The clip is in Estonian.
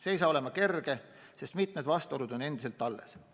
See ei saa olema kerge, sest mitu vastuolu on endiselt alles.